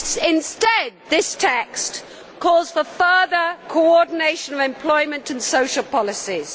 Instead, this text calls for further coordination of employment and social policies.